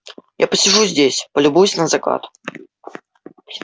я посижу здесь полюбуюсь на закат